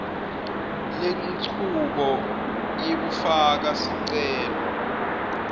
lenchubo yekufaka sicelo